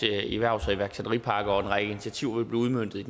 erhvervs og iværksætterpakke og en række initiativer blive udmøntet